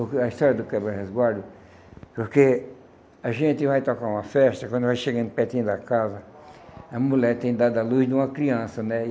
A história do Quebra Resguardo, porque a gente vai tocar uma festa, quando vai chegando pertinho da casa, a mulher tem dado à luz de uma criança, né?